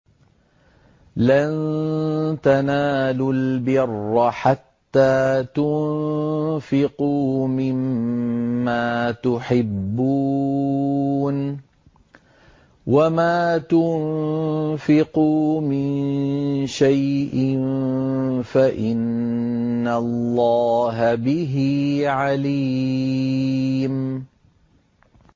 لَن تَنَالُوا الْبِرَّ حَتَّىٰ تُنفِقُوا مِمَّا تُحِبُّونَ ۚ وَمَا تُنفِقُوا مِن شَيْءٍ فَإِنَّ اللَّهَ بِهِ عَلِيمٌ